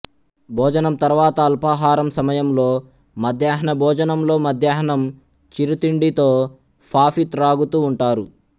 భోజనం తర్వాత అల్పాహారం సమయంలో మధ్యాహ్న భోజనంలో మధ్యాహ్నం చిరుతిండితో ఫాఫీ త్రాగుతూ ఉంటారు